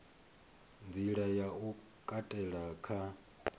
nḓila ya u katela kha